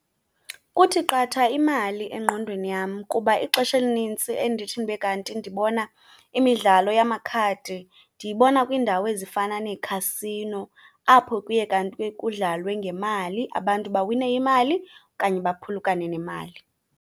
Kuthi qatha imali engqondweni yam kuba ixesha elinintsi endithi ndibe kanti ndibona imidlalo yamakhadi ndiyibona kwiindawo ezifana neekhasino apho kuye kanti kudlalwe ngemali, abantu bawine nemali okanye baphulukane nemali.